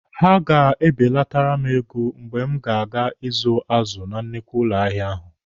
Ha ga-ebelatara m ego mgbe m ga-aga ịzụ azụ na nnukwu ụlọ ahịa ahụ.